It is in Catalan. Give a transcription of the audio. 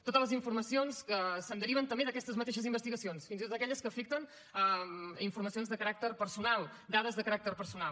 totes les informacions que se’n deriven també d’aquestes mateixes investigacions fins i tot aquelles que afecten informacions de caràcter personal dades de caràcter personal